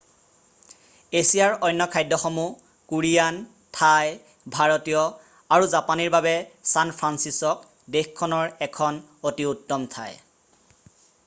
এছিয়াৰ অন্য খাদ্যসমূহ কোৰিয়ান থাই ভাৰতীয় আৰু জাপানীৰ বাবে ছান ফ্ৰান্সিছক' দেশখনৰ এখন অতি উত্তম ঠাই